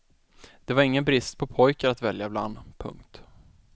Det var ingen brist på pojkar att välja bland. punkt